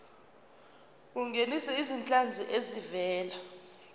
ungenise izinhlanzi ezivela